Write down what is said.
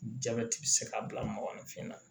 Jabɛti bɛ se ka bila magɔ ni finna